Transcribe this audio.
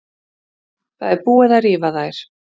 Það er búið að rífa þær.